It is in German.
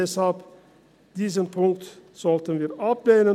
Deshalb sollten wir diesen Punkt ablehnen.